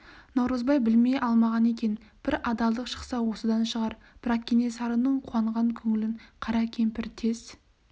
наурызбай білмей алмаған екен бір адалдық шықса осыдан шығар бірақ кенесарының қуанған көңілін қара кемпір тез